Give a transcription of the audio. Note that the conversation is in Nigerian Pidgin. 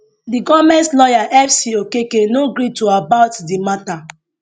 di goment lawyer f c okeke no gree to about di mata